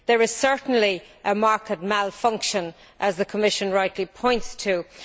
There is certainly a market malfunction, as the Commission rightly points out.